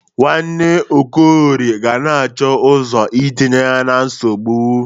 Nwanna Okorie ga na-achọ ọzọ itinye ya na nsogbụ.